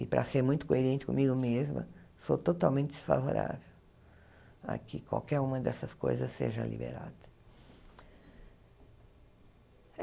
e para ser muito coerente comigo mesma, sou totalmente desfavorável a que qualquer uma dessas coisas seja liberada.